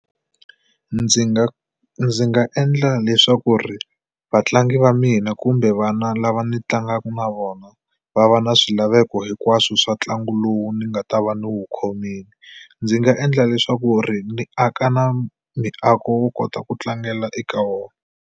Ndzi nga ndzi nga endla leswaku ri vatlangi va mina kumbe vana lava ni tlangaka na vona va va na swilaveko hinkwaswo swa ntlangu lowu ni nga ta va ni wu khomile. Ndzi nga endla leswaku ri ni aka na miako wo kota ku tlangela eka wona.